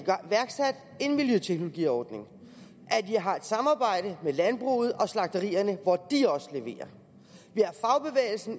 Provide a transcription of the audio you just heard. miljøteknologiordning at jeg har et samarbejde med landbruget og slagterierne hvor de også leverer